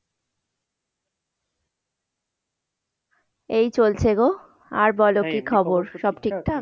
এই চলছে গো, আর বল কি খবর? সব ঠিকঠাক?